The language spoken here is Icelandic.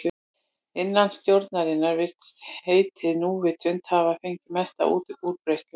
Innan stjórnunar virðist heitið núvitund hafa fengið mesta útbreiðslu.